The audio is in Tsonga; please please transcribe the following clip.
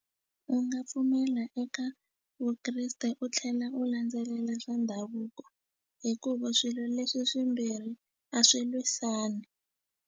U nga pfumela eka Vukreste u tlhela u landzelela swa ndhavuko hikuva swilo leswi swimbirhi a swi lwisani.